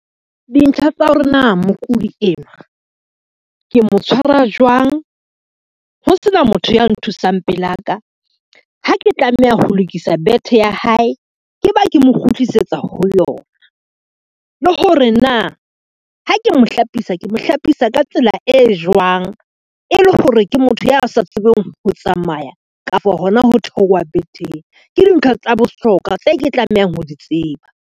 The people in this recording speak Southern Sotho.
Dintlha tsa hore na mokudi enwa, ke mo tshwara jwang ho sena motho ya nthusang pela ka ha ke tlameha ho lokisa bethe ya hae, ke ba ke mo kgutlisetsa ho yona. Le hore na ha ke mo hlapisa, ke mo hlapisa ka tsela e jwang e le hore ke motho ya sa tsebeng ho tsamaya kapa hona ho theowa betheng. Ke dintlha tsa bohlokwa tse ke tlamehang ho di tseba.